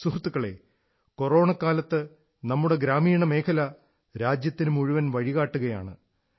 സുഹൃത്തുക്കളേ കൊറോണക്കാലത്ത് നമ്മുടെ ഗ്രാമീണ മേഖല രാജ്യത്തിനു മുഴുവൻ വഴികാട്ടുകയാണ്